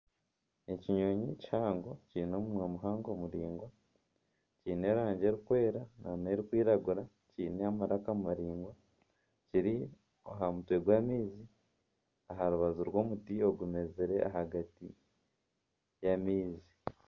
Ekinyonyi kihango kiine omunwa muhango muraingwa kiine erangi erikwera nana erikwiragura kiine amaraka maraingwa kiri aha mutwe gw'amaizi aha rubaju rw'omuti ogumezire ahagati y'amaizi.